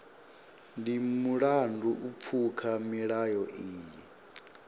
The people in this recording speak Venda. ndi mulandu u pfuka milayo iyi